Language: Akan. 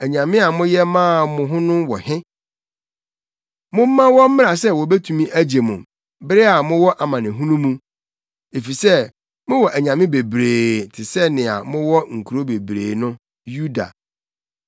Anyame a moyɛ maa mo ho no wɔ he? Momma wɔmmra sɛ wobetumi agye mo bere a mowɔ amanehunu mu! Efisɛ mowɔ anyame bebree te sɛ nea mowɔ nkurow bebree no, Yuda.